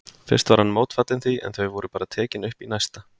Fyrst var hann mótfallinn því, en þau voru bara tekin upp í næsta.